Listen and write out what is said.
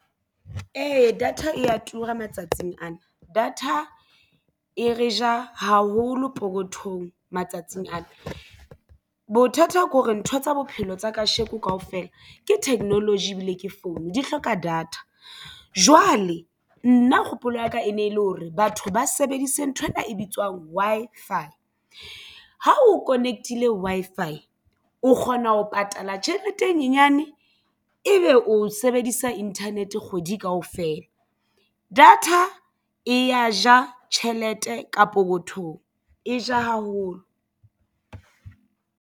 Ee, data e ya tura matsatsing ana data e re ja haholo pokothong matsatsing ana. Bothata ko re ntho tsa bophelo tsa kasheko kaofela ke technology ebile ke foune di hloka data. Jwale nna kgopolo ya ka e ne e le hore batho ba sebedise nthwena e bitswang Wi-Fi ha o connect-ile Wi-Fi o kgona ho patala tjhelete e nyenyane e ebe o sebedisa internet kgwedi kaofela. Data e ya ja tjhelete kapo pokothong e ja haholo.